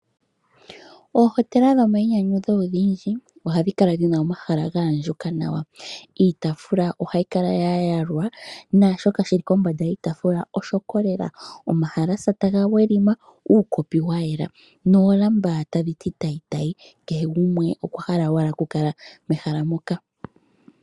Oohotela dhomainyanyudho odhindji ohadhi kala dhina omahala gaandjuka nawa, iitaafula ohayi kala ya yalwa naashoka shili kombanda yiitaafula oshoko lela, omahalasa taga weli ma, uukopi wa yela noolamba tadhi ti tayi tayi, kehe gumwe okwa hala owala oku kala mehala moka.